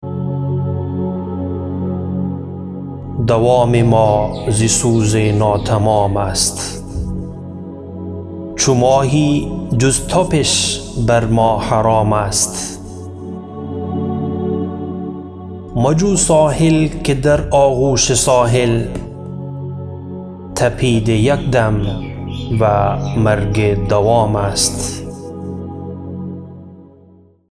دوام ما ز سوز ناتمام است چو ماهی جز تپش بر ما حرام است مجو ساحل که در آغوش ساحل تپید یک دم و مرگ دوام است